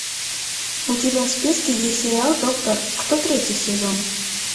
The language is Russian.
у тебя в списке есть сериал доктор кто третий сезон